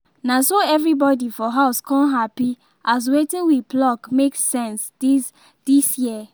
na so everybody for house con happy as wetin we pluck make sense this this year